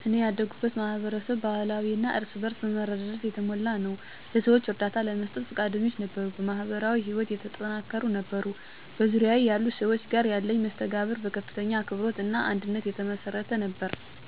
እኔ ያደኩበት ማህበረሰብ ባህላዊ እና እርስ በእርስ በመረዳዳት የተሞላ ነበር። ለሰዎች እርዳታ ለመስጠት ፈቃደኞች ነበሩ፣ በማህበራዊ ህይወት የተጠናከሩ ነበሩ። በዙሪያዬ ያሉ ሰዎች ጋር ያለኝ መስተጋብር በከፍተኛ አክብሮት እና አንድነት የተመሰረተ ነበር፤ ችግሮችን በጋራ ለመፍታት የሚሰራ እና በጣም የሚዋደድ ማህበረሰብ ነበር።